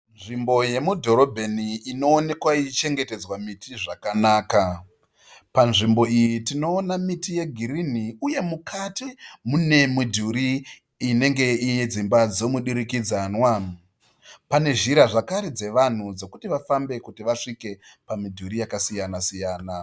Nzvimbo yemudhorobheni inoonekwa ichichengetedzwa miti zvakanaka. Panzvimbo iyi tinoona miti yegirini uye mukati mune midhuri inenge yedzimba dzemudurikidzanwa. Pane zhira zvakare dzavanhu dzekuti vafambe kuti vasvike pamidhuri yakasiyana siyana.